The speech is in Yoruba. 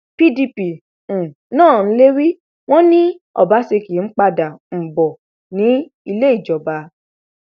pdp um náà ń lérí wọn ni ọbaṣẹkí ń padà um bọ nílé ìjọba